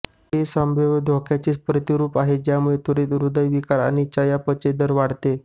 हे संभाव्य धोक्याचे प्रतिरूप आहे ज्यामुळे त्वरीत हृदयविकार आणि चयापचय दर वाढते